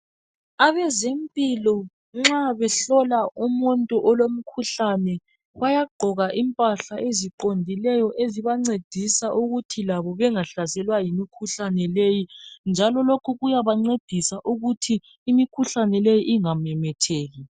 Abezempilo nxa behlola umuntu olomkhuhlane bayagqoka impahla eziqondileyo ezibancedisa ukuthi labo bengahlaselwa yimikhuhlane leyi njalo lokhu kuyabancedisa ukuthi imikhuhlane leyi ingamemetheki.